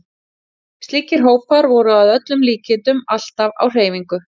Slíkir hópar voru að öllum líkindum alltaf á hreyfingu.